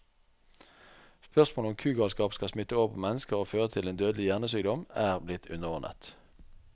Spørsmålet om kugalskap kan smitte over på mennesker og føre til en dødelig hjernesykdom, er blitt underordnet.